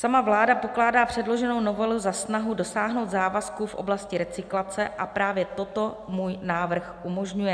Sama vláda pokládá předloženou novelu za snahu dosáhnout závazků v oblasti recyklace a právě toto můj návrh umožňuje.